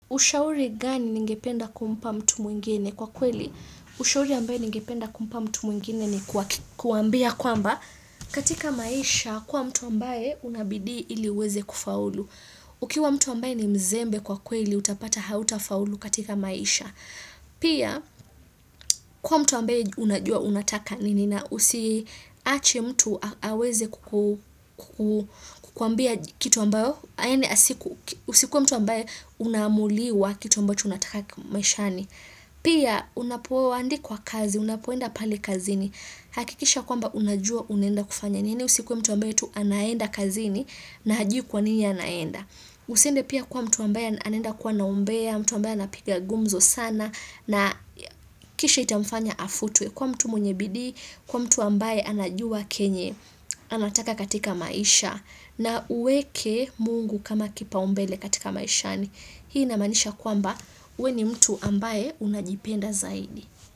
Ushauri gani ningependa kumpa mtu mwingine? Kwa kweli. Ushauri ambaye ningependa kumpa mtu mwingine ni kuambia kwamba katika maisha kuwa mtu ambaye una bidii ili uweze kufaulu. Ukiwa mtu ambaye ni mzembe kwa kweli utapata hautafaulu katika maisha. Pia kuwa mtu ambaye unajua unataka nini na usiache mtu aweze kukuambia kitu ambayo usikuwe mtu ambaye unaamuliwa kitu ambacho unataka maishani pia unapoandikwa kazi, unapoenda pale kazini hakikisha kwamba unajua unaenda kufanya nini usikuwe mtu ambaye tu anaenda kazini na hajui kwa nini anaenda. Usiende pia kuwa mtu ambaye anaenda kuwa na umbea mtu ambaye anapiga gumzo sana na kisha itamfanya afutwe. Kuwa mtu mwenye bidii, kuwa mtu ambaye anajua kenye anataka katika maisha na uweke Mungu kama kipaumbele katika maishani. Hii inamaanisha kwamba we ni mtu ambaye unajipenda zaidi.